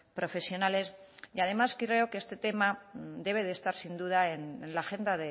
profesionales y además creo que este tema debe de estar sin duda en la agenda